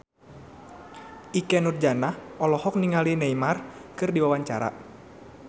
Ikke Nurjanah olohok ningali Neymar keur diwawancara